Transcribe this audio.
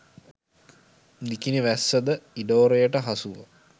නිකිණි වැස්ස ද ඉඩෝරයට හසුව